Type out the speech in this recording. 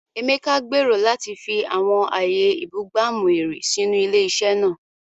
Emeka gbèrò láti fi àwọn ààyè ìbúgbàmù-ẹ̀rí sínú ilé-iṣẹ́ náà.